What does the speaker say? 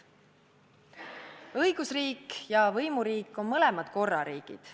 Õigusriik ja võimuriik on mõlemad korrariigid.